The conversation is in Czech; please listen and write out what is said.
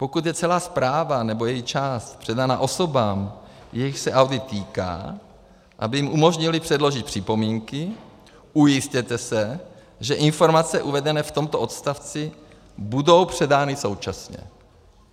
Pokud je celá zpráva nebo její část předána osobám, jichž se audit týká, aby jim umožnili předložit připomínky, ujistěte se, že informace uvedené v tomto odstavci budou předány současně.